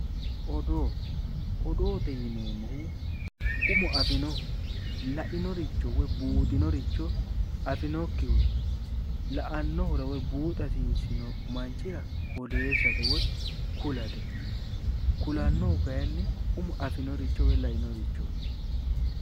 Odoo odoo yineemohu umo afinohu lainoricho woyi buuxinoricho afinokkihura la"anohura woyi buuxa hasiisino manichira odeesate woyi kulate kulannohu kayinni umo afino richo woyi Lainorichooti